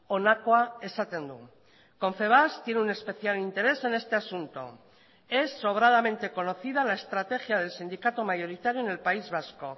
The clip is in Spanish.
honakoa esaten du confebask tiene un especial interés en este asunto es sobradamente conocida la estrategia del sindicato mayoritario en el país vasco